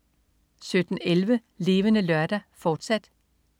17.11 Levende Lørdag, fortsat